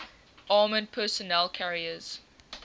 armored personnel carriers